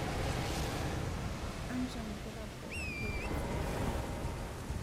Aanjoo nkera pooki epuo sukul